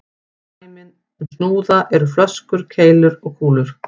Dæmi um snúða eru flöskur, keilur og kúlur.